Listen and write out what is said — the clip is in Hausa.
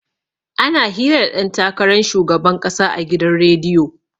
Ana hira da ɗan takaran shugaban ƙasa a gidan rediyo.